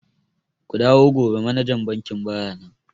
Ku dawo gobe manajan bankin baya nan.